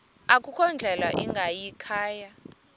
akukho ndlela ingayikhaya